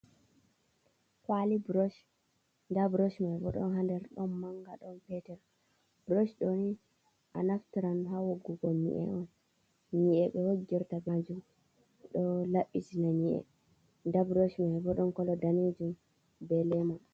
Kwali brosh nda brosh man bo ɗon ha nder ɗon manga ɗon peter, brosh ɗo ni a naftaran on ha wogugo nyi'e on nyi’e be wogirta kanjum ɗo labbitina nyi’e nda brosh mai bo ɗon kolo danejum be ɓalejum.